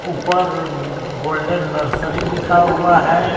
ऊपर golden nursery लिखा हुआ है।